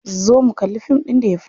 Zo mu kalli fim ɗin da ya fito.